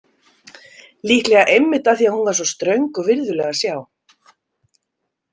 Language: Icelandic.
Líklega einmitt af því að hún var svo ströng og virðuleg að sjá.